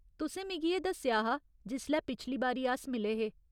तुसें मिगी एह् दस्सेआ हा जिसलै पिछली बारी अस मिले हे।